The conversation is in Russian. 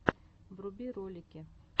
вруби ролики